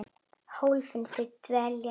Hólfin þau teljast víst tólf.